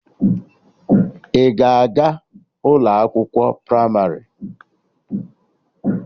Ị ga-aga ụlọ akwụkwọ pramarị?